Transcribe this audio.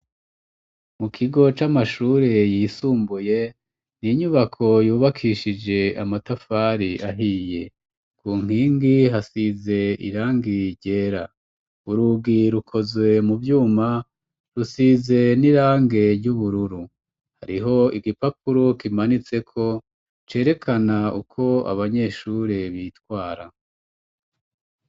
Mu kigo c'amashure yisumbuye, ni inyubako yubakishije amatafari ahiye. Ku nkingi hasize irangi ryera. Urugi rukozwe mu vyuma, rusize n'irange ry'ubururu. Hariho igipapuro kimanitseko, cerekana uko abanyeshure bitwara.